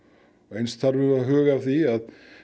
eins þurfum við að huga að því